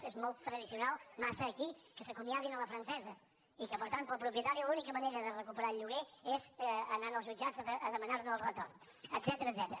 és molt tradicional massa aquí que s’acomiadin a la francesa i que per tant per al propietari l’única manera de recuperar el lloguer és anant als jutjats a demanar·ne el retorn et·cètera